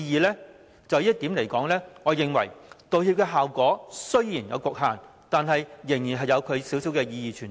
就這一點，我認為道歉的效果雖然有其局限，但仍有少許意義存在。